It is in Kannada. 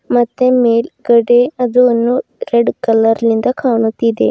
ಮತ್ತೆ ಮೇಲ್ಗಡೆ ಅದು ಅನ್ನು ರೆಡ್ ಕಲರ್ ನಿಂದ ಕಾಣುತ್ತಿದೆ.